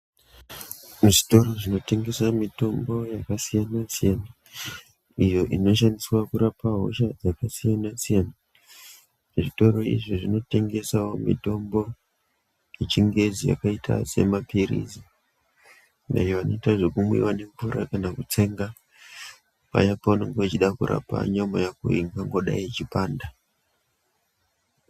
Muzvitoro zvinotengesa mitombo yakasiyana siyana, iyo inoshandiswa kurapa hosha dzakasiyana siyana. Zvitoro izvi zvinotengesawo mitombo yechingezi zvakaita semapirizi ayo anoita zvekumwiwa nemvura kana kutsenga. Paya paunge uchida kurapa nyama yako iyo ingangodai ichipinda.